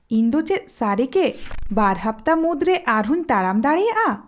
ᱤᱧ ᱫᱚ ᱪᱮᱫ ᱥᱟᱹᱨᱤᱜᱮ ᱵᱟᱨ ᱦᱟᱯᱛᱟ ᱢᱩᱫᱨᱮ ᱟᱨᱦᱚᱸᱧ ᱛᱟᱲᱟᱢ ᱫᱟᱲᱮᱭᱟᱜᱼᱟ ?